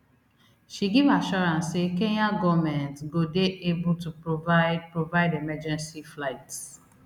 she give assurance say kenya goment go dey able to provide provide emergency flights